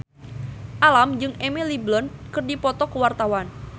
Alam jeung Emily Blunt keur dipoto ku wartawan